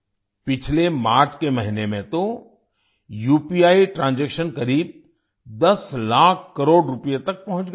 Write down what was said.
पिछले मार्च के महीने में तो उपी ट्रांजैक्शन करीब 10 लाख करोड़ रुपए तक पहुंच गया